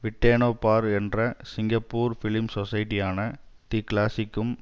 விட்டேனோ பார் என்ற சிங்கப்பூர் பிலிம் சொஸைட்டியான தி கிளாசிக்கும்